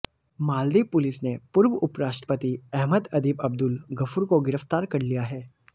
Maldives police ने पूर्व उपराष्ट्रपति अहमद अदीब अब्दुल गफूर को गिरफ्तार कर लिया है